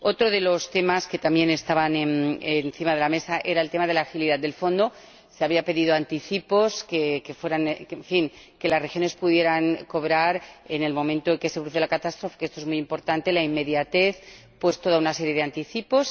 Otro de los temas que también estaban encima de la mesa era el tema de la agilidad del Fondo. Se habían pedido anticipos en fin, que las regiones pudieran cobrar en el momento en que se produce la catástrofe ―esto es muy importante la inmediatez― toda una serie de anticipos.